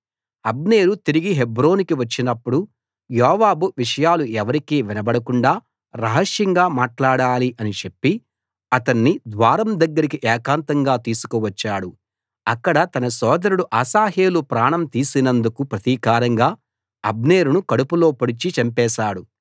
అబ్నేరు తిరిగి హెబ్రోనుకు వచ్చినప్పుడు యోవాబు విషయాలు ఎవరికీ వినబడకుండా రహస్యంగా మాట్లాడాలి అని చెప్పి అతణ్ణి ద్వారం దగ్గరికి ఏకాంతంగా తీసుకు వచ్చాడు అక్కడ తన సోదరుడు అశాహేలు ప్రాణం తీసినందుకు ప్రతీకారంగా అబ్నేరును కడుపులో పొడిచి చంపేశాడు